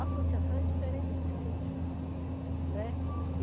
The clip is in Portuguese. Associação é diferente de síndico, né.